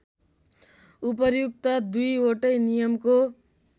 उपर्युक्त दुईवटै नियमको